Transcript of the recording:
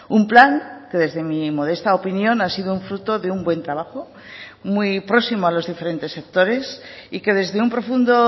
un plan que desde mi modesta opinión ha sido un fruto de un buen trabajo muy próximo a los diferentes sectores y que desde un profundo